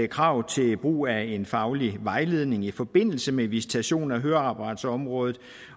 krav til brug af en faglig vejledning i forbindelse med visitation af høreapparatsområdet